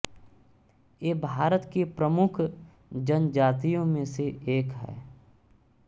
ये भारत के प्रमुख जनजातियों में से एक हैं